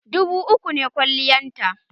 Dubu uku ne kwaliyata